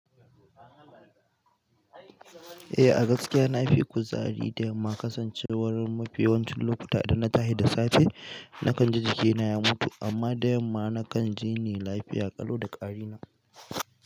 Eh a gaskiya na fi kuzari da yamma kasancewar mafi yawancin lokuta idan na tashi da safe, na kan ji jikina ya mutu amma da yamma na kan jini lafiya ƙalau da ƙari na.